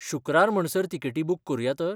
शुक्रार म्हणसर तिकेटी बूक करुया तर?